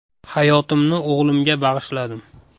Hayotimni o‘g‘limga bag‘ishladim.